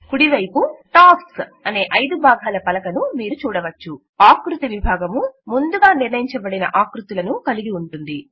కుడివైపు టాస్క్స్ అనే 5 భాగముల పలక న్ మీరు చూడవచ్చు ఆకృతి విభాగము ముందుగా నిర్ణయించబడిన ఆకృతులు కలిగి ఉంటుంది